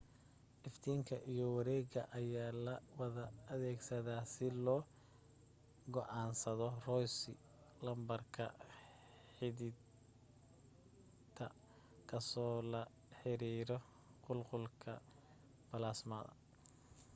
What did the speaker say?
iftiinka iyo wareega ayaa la wada adeegsadaa si loo go'aansado rossy lambarka xiddigta kaasoo la xiriira qulqulka balaasmada